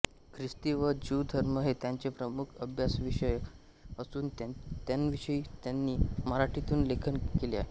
ख्रिस्ती व ज्यू धर्म हे त्यांचे प्रमुख अभ्यासविषय असून त्यांविषयी त्यांनी मराठीतून लेखन केले आहे